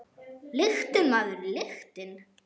Lyktin, maður, lyktin!